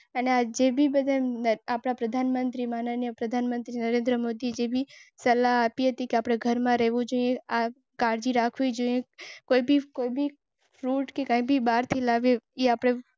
તંદુરસ્ત લોકોએ ચીન સિવાયના દેશોમાં મોટા ભાગના માસ્ક પહેરવાની જરૂર નથી એમ જણાવ્યું હતું. તબીબી સારવાર સિવાય ઘરની બહાર ના નીકળવાની સલાહ.